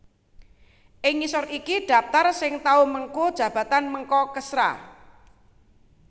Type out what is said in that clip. Ing ngisor iki dhaptar sing tau mengku jabatan Menko Kesra